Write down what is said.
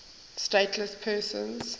stateless persons